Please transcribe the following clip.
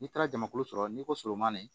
N'i taara jamakulu sɔrɔ n'i ko surumani